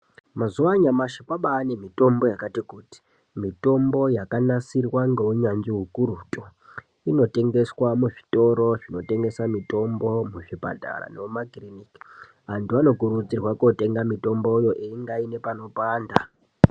Mazuwa anyamashi kwabaane mitombo yakati kuti, mitombo yakanasirwa ngeunyanzvi ukurutu. Inotengeswa muzvitoro zvinotengesa mitombo, muzvipatara , nemumakiriniki .Antu anokurudzirwa kootenga mitomboyo einga aine panopanda.